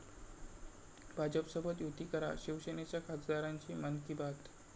भाजपसोबत 'युती' करा, शिवसेनेच्या खासदारांची 'मन की बात'!